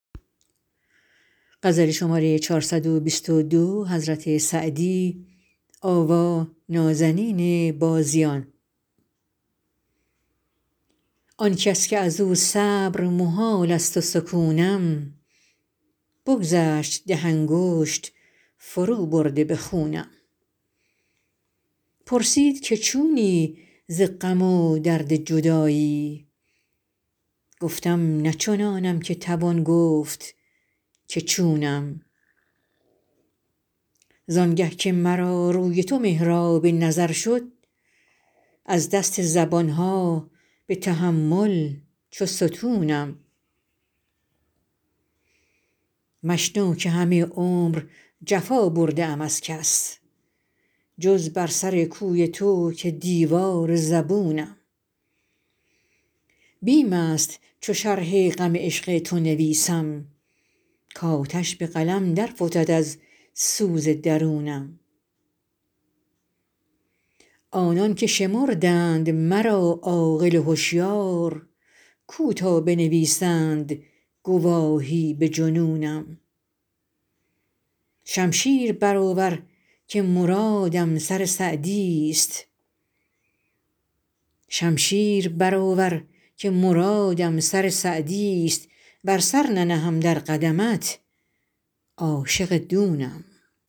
آن کس که از او صبر محال است و سکونم بگذشت ده انگشت فروبرده به خونم پرسید که چونی ز غم و درد جدایی گفتم نه چنانم که توان گفت که چونم زان گه که مرا روی تو محراب نظر شد از دست زبان ها به تحمل چو ستونم مشنو که همه عمر جفا برده ام از کس جز بر سر کوی تو که دیوار زبونم بیم است چو شرح غم عشق تو نویسم کآتش به قلم در فتد از سوز درونم آنان که شمردند مرا عاقل و هشیار کو تا بنویسند گواهی به جنونم شمشیر برآور که مرادم سر سعدیست ور سر ننهم در قدمت عاشق دونم